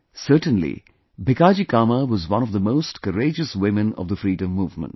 Certainly Bhikaji Cama was one of the most courageous women of the freedom movement